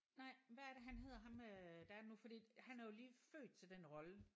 Nej hvad er det han hedder ham øh der er nu fordi han er jo lige født til den rolle